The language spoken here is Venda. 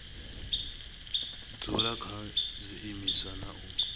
dzula kha zwiimiswa na u